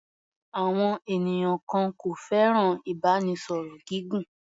Àwọn ènìyàn kan kò fẹ́ràn ìbánisọ̀rọ̀ gígùn.